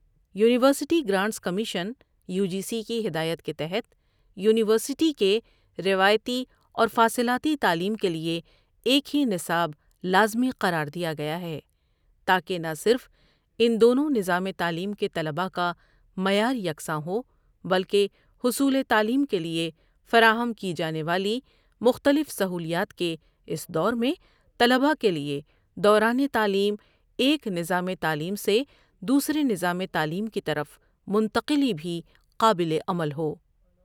University grants commission UG سی)کی ہدایت کے تحت یونیورسٹی کے روایتی اور فاصلاتی تعلیم کے لیے ایک ہی نصاب لازمی قراردیا گیا ہے تاکہ نہ صرف ان دونوں نظام تعلیم کے طلبا کامعیار یکسان ہو بلکہ حصول تعلیم کے لیے فراہم کی جانے والی مختلف سہولیات کے اس دور میں طلبا کے لیے دوران تعلیم ایک نظام تعلیم سے دوسرےنظام تعلیم کی طرف منتقلی بھی قابل عمل ہو۔